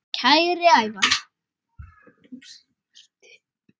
Kæri Ævar.